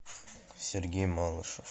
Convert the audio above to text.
сергей малышев